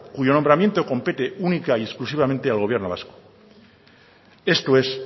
cuyo nombramiento compete única y exclusivamente al gobierno vasco esto es